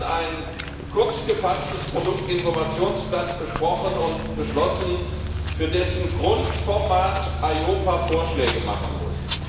Wir haben ein kurz gefasstes Produktinformationsblatt besprochen und beschlossen, für dessen Grundformat EIOPA Vorschläge machen muss.